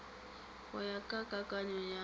go ya ka kakanyo ya